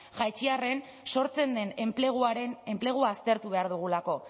jaitsi arren sortzen den enplegua aztertu behar dugulako